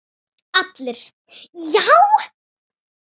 ALLIR: Já!